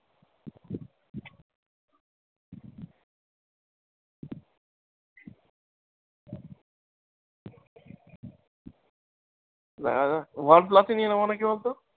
দেখা যাক। One plus ই নিয়ে নেবো নাকি বলতো?